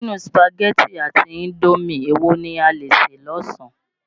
Nínú Sùpàgẹ̀tì àti indómì èwo ni a lè sè lásán?